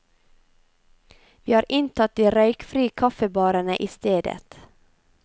Vi har inntatt de røykfrie kaffebarene i stedet.